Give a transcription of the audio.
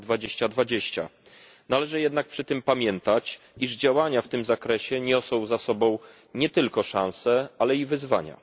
2020. Należy jednak przy tym pamiętać, iż działania w tym zakresie niosą za sobą nie tylko szanse, ale i wyzwania.